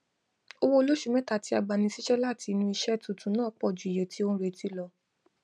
owó olóṣù méta tí agbanisíṣẹ láti inú iṣẹ tutun náà pọ ju iye tí ó retí lọ